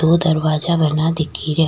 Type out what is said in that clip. दो दरवाजा बना दिखे रा।